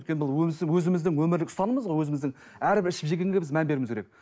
өйткені бұл өзіміздің өмірлік ұстанымыз ғой өзіміздің әрбір ішіп жегенге біз мән беруіміз керек